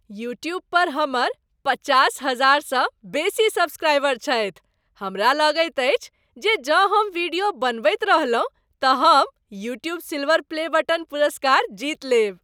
YouTube पर हमर पचास हजार सँ बेसी सब्सक्राइबर छथि। हमरा लगैत अछि जे जँ हम वीडियो बनबैत रहलहुँ तँ हम "यूट्यूब सिल्वर प्ले बटन" पुरस्कार जीत लेब।